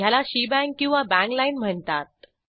याला शेबांग किंवा bang line म्हणतात